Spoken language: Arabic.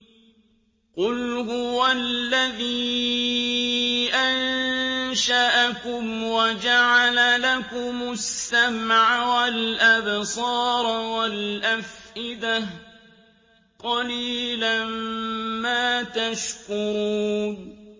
قُلْ هُوَ الَّذِي أَنشَأَكُمْ وَجَعَلَ لَكُمُ السَّمْعَ وَالْأَبْصَارَ وَالْأَفْئِدَةَ ۖ قَلِيلًا مَّا تَشْكُرُونَ